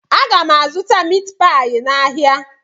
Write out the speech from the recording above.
Aga m azụta mitpai n'ahia